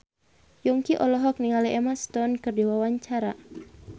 Yongki olohok ningali Emma Stone keur diwawancara